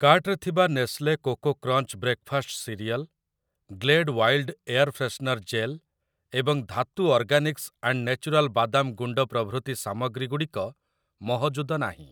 କାର୍ଟ୍‌ରେ ଥିବା Nestle coco crunch breakfast cereal, Glade wild air freshener gel ଏବଂ Dhatu organics and natural ବାଦାମ ଗୁଣ୍ଡ ପ୍ରଭୃତି ସାମଗ୍ରୀ ଗୁଡ଼ିକ ମହଜୁଦ ନାହିଁ ।